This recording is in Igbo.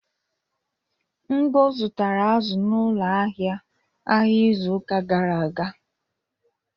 Ngo zụtara azụ n'ụlọ ahịa ahịa izu ụka gara aga.